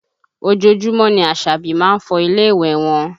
Ojoojúmọ́ ni Àṣàbí má ń fọ ilé ìwẹ̀ wọn